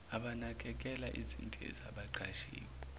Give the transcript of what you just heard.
abanakekela izindiza abaqashiwe